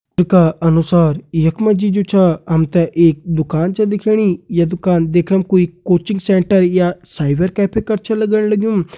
चित्र का अनुसार यख मा जी जु छा हम तें एक दुकान छ दिखेणी या दुकान देखणम कोई कॉचिंग सेण्टर या साइबर कैफ़े कर छ लगण लग्युं।